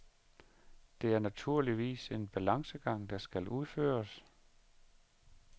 Det er naturligvis en balancegang, der skal udføres.